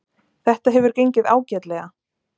Þetta hefur gengið ágætlega